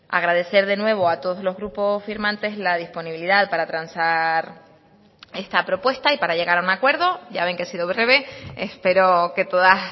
agradecer de nuevo a todos los grupos firmantes la disponibilidad para transar esta propuesta y para llegar a un acuerdo ya ven que he sido breve espero que todas